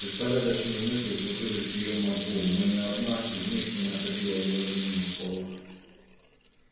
беспорядочные мысли кружились в её мозгу но ни одна из них не находила выражения в словах